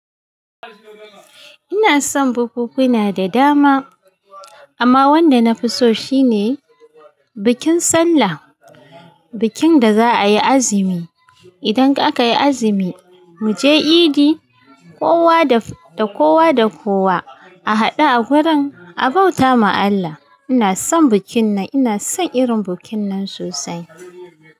Ina son bukunkuna da dama, amma wanda na fi so shi ne bikin Sallah, bikin da za ayi azumi. Idan aka yi azumi mu je idi, kowa da kowa da kowa a haɗu a gurin a bauta ma Allah. Ina son bikin nan, ina son irin bikin nan sosai.